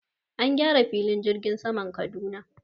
An gyara filin jirgin saman Kaduna.